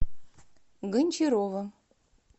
гончарова